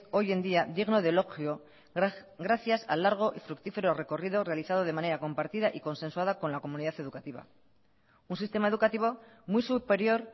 hoy en día digno de elogio gracias al largo y fructífero recorrido realizado de manera compartida y consensuada con la comunidad educativa un sistema educativo muy superior